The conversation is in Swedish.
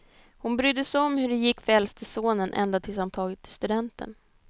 Hon brydde sig om hur det gick för äldste sonen ända tills han tagit studenten.